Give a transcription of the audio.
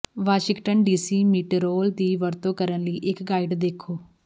Washington DC ਮੀਟੋਰਾਲ ਦੀ ਵਰਤੋਂ ਕਰਨ ਲਈ ਇਕ ਗਾਈਡ ਦੇਖੋ